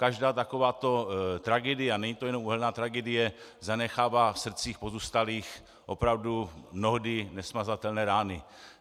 Každá takováto tragédie, a není to jenom uhelná tragédie, zanechává v srdcích pozůstalých opravdu mnohdy nesmazatelné rány.